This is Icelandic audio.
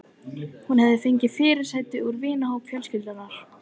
Hún hefur fengið fyrirsætur úr vinahópi fjölskyldunnar.